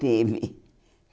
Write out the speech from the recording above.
Teve.